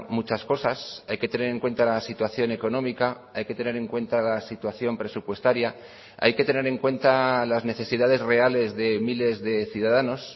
muchas cosas hay que tener en cuenta la situación económica hay que tener en cuenta la situación presupuestaria hay que tener en cuenta las necesidades reales de miles de ciudadanos